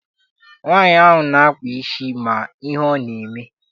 Nwaanyi ahụ na-akpa isi ma ihe ọ na-eme.